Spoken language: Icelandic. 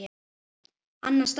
Annan stað?